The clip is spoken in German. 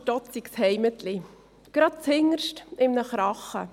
stotzigs Heimetli, grad z‘hinderscht imene Chrache.